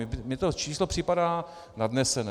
Mně to číslo připadá nadnesené.